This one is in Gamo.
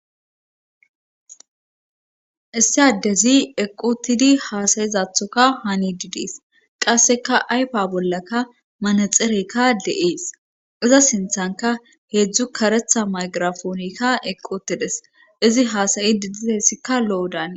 issi addezi eqotidi haasayizathoka hani didees qasseka aypa bollaka manexerekka de7ees iza sinthanka heedzdzu karetha maygirafoonekka eqotedes izi haasayi di didesikka lo7odaan